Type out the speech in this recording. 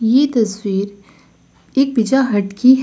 ये तस्वीर एक पिज़्ज़ा हट की है।